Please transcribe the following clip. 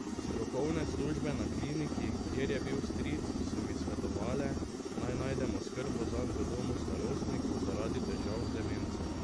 Strokovne službe na kliniki, kjer je bil stric, so mi svetovale, naj najdem oskrbo zanj v domu starostnikov zaradi težav z demenco.